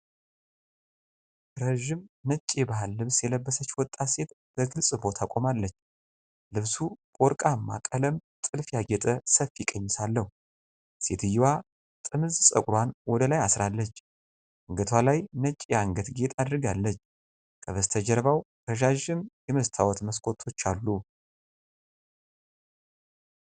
ረዥም ነጭ የባህል ልብስ የለበሰች ወጣት ሴት በግልጽ ቦታ ቆማለች። ልብሱ በወርቃማ ቀለም ጥልፍ ያጌጠ ሰፊ ቀሚስ አለው። ሴትየዋ ጥምዝ ፀጉሯን ወደ ላይ አሥራለች፤ አንገቷ ላይ ነጭ የአንገት ጌጥ አድርጋለች። ከበስተጀርባው ረጃጅም የመስታወት መስኮቶች አለ።